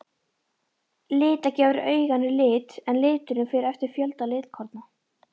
Lita gefur auganu lit en liturinn fer eftir fjölda litkorna.